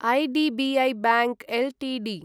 IDBI bank Ltd